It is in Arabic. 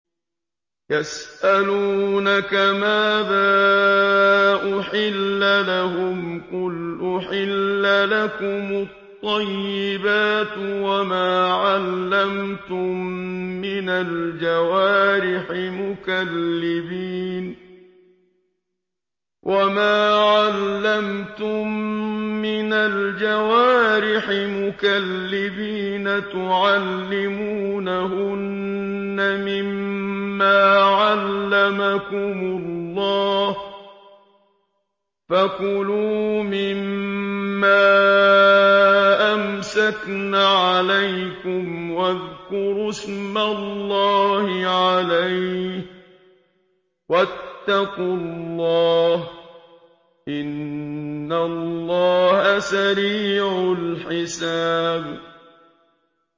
يَسْأَلُونَكَ مَاذَا أُحِلَّ لَهُمْ ۖ قُلْ أُحِلَّ لَكُمُ الطَّيِّبَاتُ ۙ وَمَا عَلَّمْتُم مِّنَ الْجَوَارِحِ مُكَلِّبِينَ تُعَلِّمُونَهُنَّ مِمَّا عَلَّمَكُمُ اللَّهُ ۖ فَكُلُوا مِمَّا أَمْسَكْنَ عَلَيْكُمْ وَاذْكُرُوا اسْمَ اللَّهِ عَلَيْهِ ۖ وَاتَّقُوا اللَّهَ ۚ إِنَّ اللَّهَ سَرِيعُ الْحِسَابِ